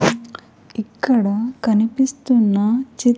ఇక్కడ కనిపిస్తున్న చి--